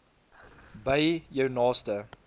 by jou naaste